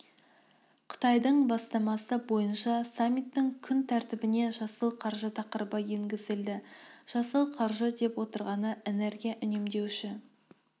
қытайдың бастамасы бойынша саммиттің күн тәртібіне жасыл қаржы тақырыбы енгізілді жасыл қаржы деп отырғаны энергия үнемдеуші